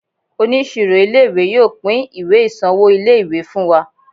Oníṣirò ilé ìwé yóò pín ìwé ìsanwó ilé ìwé fún wa.